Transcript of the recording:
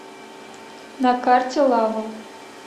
на карте лавл